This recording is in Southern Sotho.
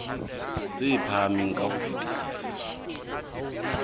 tse phahameng ka ho fetisisa